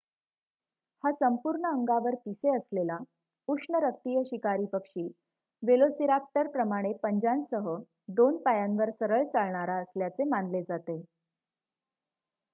हा संपूर्ण अंगावर पिसे असलेला उष्णरक्तीय शिकारी पक्षी वेलोसिराप्टरप्रमाणे पंजांसह दोन पायांवर सरळ चालणारा असल्याचे मानले जाते